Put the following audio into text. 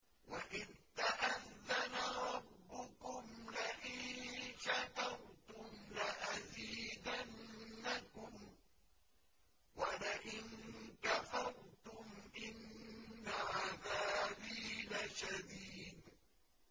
وَإِذْ تَأَذَّنَ رَبُّكُمْ لَئِن شَكَرْتُمْ لَأَزِيدَنَّكُمْ ۖ وَلَئِن كَفَرْتُمْ إِنَّ عَذَابِي لَشَدِيدٌ